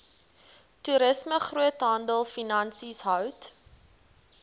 toerisme groothandelfinansies hout